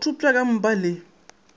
o thopša ka mpa le